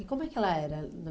E como é que ela era na